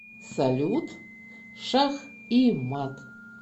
салют шах и мат